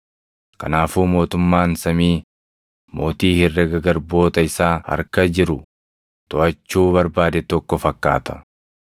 “Kanaafuu mootummaan samii mootii herrega garboota isaa harka jiru toʼachuu barbaade tokko fakkaata.